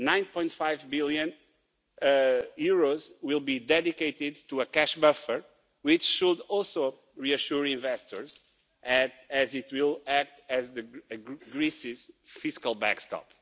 9.5 billion will be dedicated to a cash buffer, which should also reassure investors as it will act as Greece's fiscal backstop.